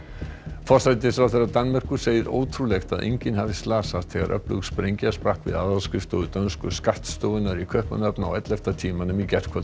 forsætisráðherra Danmerkur segir ótrúlegt að enginn hafi slasast þegar öflug sprengja sprakk við aðalskrifstofu dönsku skattstofunnar í Kaupmannahöfn á ellefta tímanum í gærkvöld